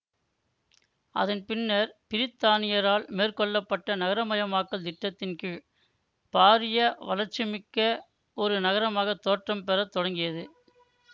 அதன் பின்னர் பிரித்தானியரால் மேற்கொள்ள பட்ட நகரமயமாக்கல் திட்டத்தின் கீழ் பாரிய வளர்ச்சிமிக்க ஒரு நகரமாக தோற்றம் பெற தொடங்கியது